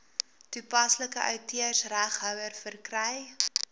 toepaslike outeursreghouer verkry